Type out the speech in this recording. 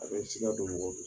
A bɛ siga don mɔgɔ